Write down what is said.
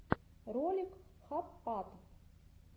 ролик хаппатв